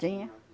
Tinha.